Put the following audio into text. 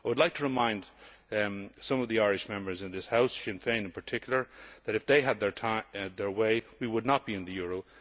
I would like to remind some of the Irish Members in this House Sinn Féin in particular that if they had had their way, we would not be in the euro.